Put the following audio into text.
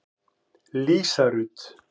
Lísa Rut.